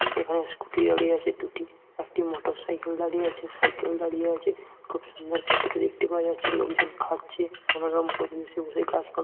এখানে স্কুটি দাঁলিয়ে আছে দুটি একটি মোটরসাইকেল দাঁড়িয়ে আছে সাইকেল দাড়িয়ে আছে খুব সুন্দর ভেতরে দেখতে পাওয়া যাচ্ছে লোকজন খাচ্ছে মনোরম পরিবেশে বসে গাছপা--